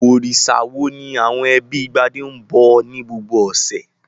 Òrìṣà wo ni àwọn ẹbí Gbadé ń bọ ní gbogbo ọ̀sẹ̀?